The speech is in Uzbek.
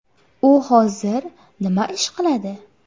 U hozir nima ish qiladi?